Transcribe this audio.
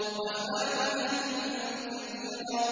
وَفَاكِهَةٍ كَثِيرَةٍ